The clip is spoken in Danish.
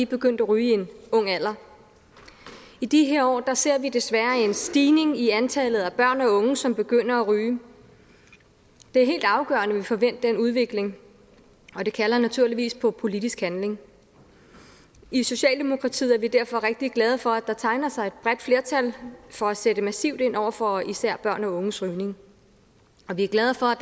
begyndt at ryge i en ung alder i de her år ser vi desværre en stigning i antallet af børn og unge som begynder at ryge det er helt afgørende at vi får vendt den udvikling og det kalder naturligvis på politisk handling i socialdemokratiet er vi derfor rigtig glade for at der tegner sig et bredt flertal for at sætte massivt ind over for især børn og unges rygning og vi er glade for at